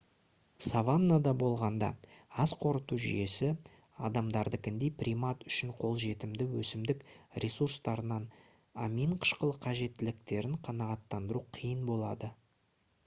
саваннада болғанда ас қорыту жүйесі адамдардыкіндей примат үшін қолжетімді өсімдік ресурстарынан амин қышқылы қажеттіліктерін қанағаттандыру қиын болады